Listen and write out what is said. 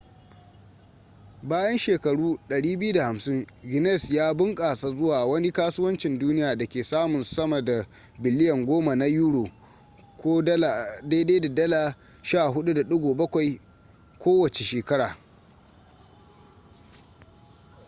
bayan shekaru 250 guinness ya bunƙasa zuwa wani kasuwancin duniya da ke samun sama da biliyan 10 na euro us$14.7 biliyan kowace shekara